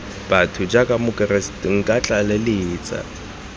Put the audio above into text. botho jaaka mokeresete nka tlaleletsa